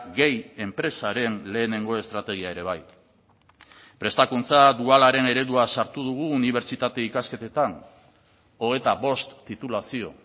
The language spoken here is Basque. gehi enpresaren lehenengo estrategia ere bai prestakuntza dualaren eredua sartu dugu unibertsitate ikasketetan hogeita bost titulazio